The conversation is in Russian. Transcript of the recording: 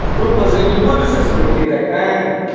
в группах же я не буду сейчас его кидать правильно